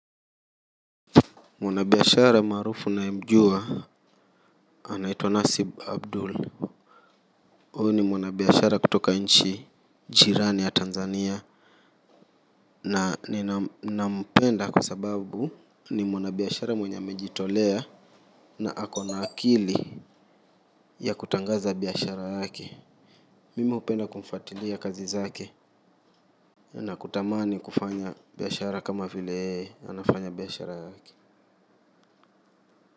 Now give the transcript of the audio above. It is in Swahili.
Mwanabiashara maarufu ninayemjua anaitwa Nasib Abdul. Huyu ni mwanabiashara kutoka nchi jirani ya Tanzania. Na ninampenda kwa sababu ni mwanabiashara mwenye amejitolea na akona akili ya kutangaza biashara yake. Mimi hupenda kumfuatilia kazi zake na kutamani kufanya biashara kama vile anafanya biashara yake.